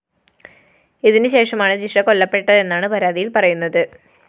ഇതിനു ശേഷമാണു ജിഷ കൊല്ലപ്പെട്ടതെന്നാണ് പരാതിയില്‍ പറയുന്നത്